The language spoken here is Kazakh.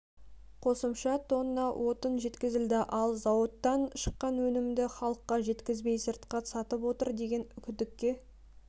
қосымша тонна отын жеткізілді ал зауыттан шыққан өнімді халыққа жеткізбей сыртқа сатып отыр деген күдікке